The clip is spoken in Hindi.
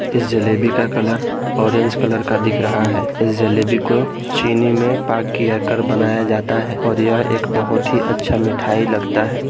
इस जलेबी का कलर ऑरेंज कलर का दिख रहा है इस जलेबी को चीनी में पाग किया कर बनाया जाता है और यह एक बहुत ही अच्छा मिठाई लगता है।